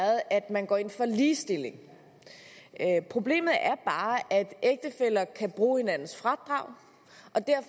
at man går ind for ligestilling problemet er bare at ægtefæller kan bruge hinandens fradrag